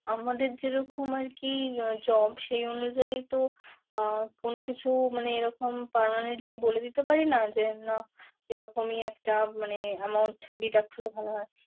আমাদের যেরকম আরকি job সেই অনুযায়ী তো আহ কোন কিছু মানে এরকম permanently বলে দিতে পারিনা যে, না এরকমই একটা মানে amount deduct করলে ভালো হয়।